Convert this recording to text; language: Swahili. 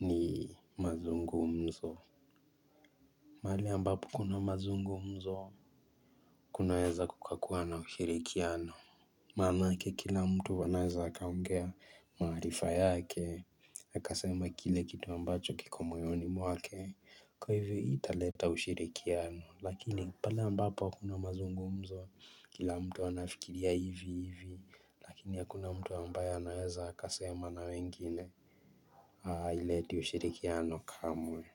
ni mazungumzo. Mali ambapo kuna mazungumzo, kunaweza kukakuwa na ushirikiano. Maanake kila mtu anaweza akaongea maarifa yake Akasema kile kitu ambacho kiko moyoni mwake. Kwa hivyo hii italeta ushirikiano. Lakini pale ambapo hakuna mazungumzo Kila mtu anafikiria hivi hivi Lakini hakuna mtu ambaye anaweza akasema na wengine, haileti ushirikiano kamwe.